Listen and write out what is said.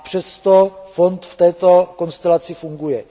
Přesto fond v této konstelaci funguje.